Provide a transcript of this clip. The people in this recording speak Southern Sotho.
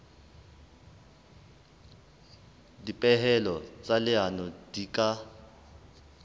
dipehelo tsa leano di ka